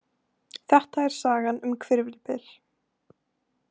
Þetta er sagan um Hvirfilbyl.